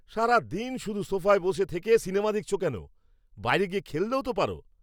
সারাদিন শুধু সোফায় বসে থেকে সিনেমা দেখছো কেন? বাইরে গিয়ে খেললেও তো পারো!